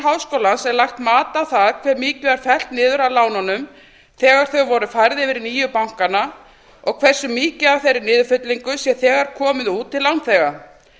háskólans er lagt mat á það hve mikið var fellt niður af lánunum þegar þau voru færð yfir í nýju bankana og hversu mikið af þeirri niðurfellingu sé þegar komið út til lánþega